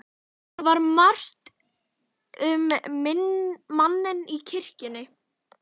Það var margt um manninn í kirkjunni.